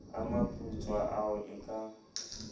a maputswa ao e ka